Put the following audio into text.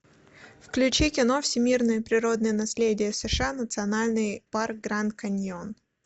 включи кино всемирное природное наследие сша национальный парк гранд каньон